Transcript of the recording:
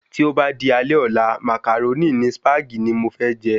Tí o ba di alé ọ̀la, Màcàrónì ni Sípàgì ni mo fé je